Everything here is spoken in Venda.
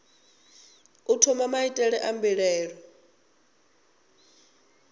u thoma maitele a mbilaelo